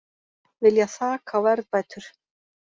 Vilja þak á verðbætur